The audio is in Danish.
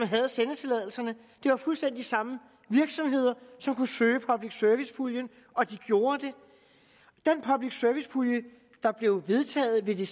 havde sendetilladelserne det var fuldstændig de samme virksomheder som kunne søge public service puljen og de gjorde det den public service pulje der blev vedtaget ved det